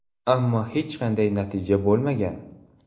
Ammo hech qanday natija bo‘lmagan.